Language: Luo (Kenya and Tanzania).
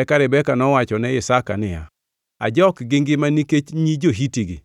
Eka Rebeka nowacho ne Isaka niya, “ajok gi ngima nikech nyi jo-Hiti-gi.